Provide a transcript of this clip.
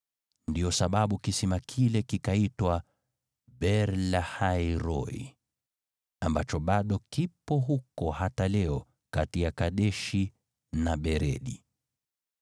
Ndiyo sababu kisima kile kikaitwa Beer-Lahai-Roi, ambacho bado kipo huko hata leo kati ya Kadeshi na Beredi.